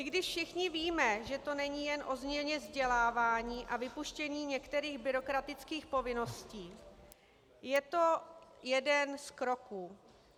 I když všichni víme, že to není jen o změně vzdělávání a vypuštění některých byrokratických povinností, je to jeden z kroků.